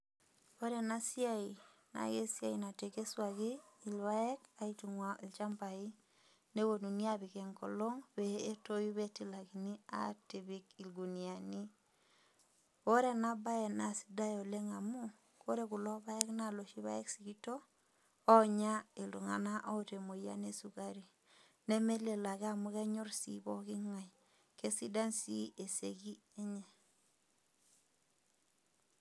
Ore ena siai naa esiai natekesuaki ilpaek, aitung'waa ilchambai, nepuonuni apik enkolong' peyie etoyu pee etilakini apik ilguniani. Ore ena bae naa sidai oleng' amu ore kulo paek naa ilooshi paek sikito, oonya iltung'ana oata emoyian e sukari, nemelelo ake amu enyor sii pooking'ai, keisidai sii eseki enye.